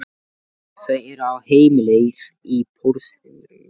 Þau eru á heimleið í Porsinum.